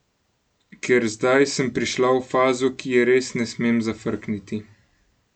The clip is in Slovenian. Ker zdaj sem prišla v fazo, ki je res ne smem zafrkniti.